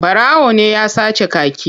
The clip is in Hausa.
Ɓarawo ne ya sace kaki.